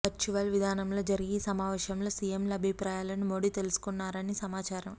virtual విధానంలో జరిగే ఈ సమావేశంలో సిఎంల అభిప్రాయాలను మోడి తెలుసుకోనున్నారని సమాచారం